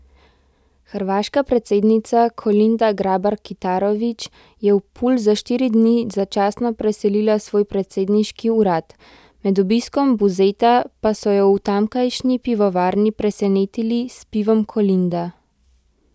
Hrvaška predsednica Kolinda Grabar Kitarović je v Pulj za štiri dni začasno preselila svoj predsedniški urad, med obiskom Buzeta pa so jo v tamkajšnji pivovarni presenetili s pivom Kolinda.